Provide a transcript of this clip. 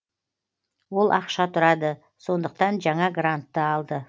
ол ақша тұрады сондықтан жаңа грантты алды